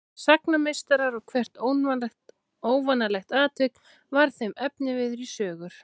Þeir urðu sagnameistarar og hvert óvanalegt atvik varð þeim efniviður í sögur.